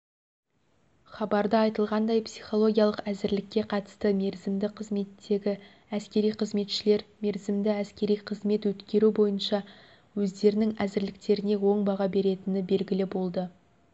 хабарда айтылғандай психологиялық әзірлікке қатысты мерзімді қызметтегі әскери қызметшілер мерзімді әскери қызмет өткеру бойынша өздерінің әзірліктеріне оң баға беретіні белгілі болды